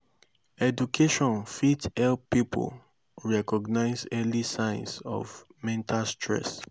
education fit help pipo recognize early signs of mental stress